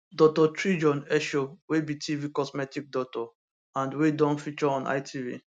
dr tijion dr tijion esho wey be tv cosmetic doctor and wey don feature on itv